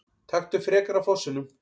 Taktu frekar af fossinum!